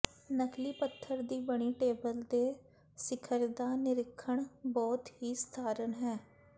ਨਕਲੀ ਪੱਥਰ ਦੀ ਬਣੀ ਟੇਬਲ ਦੇ ਸਿਖਰ ਦਾ ਨਿਰੀਖਣ ਬਹੁਤ ਹੀ ਸਧਾਰਨ ਹੈ